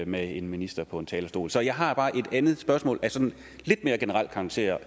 med en minister på talerstolen så jeg har bare et andet spørgsmål af lidt mere generel karakter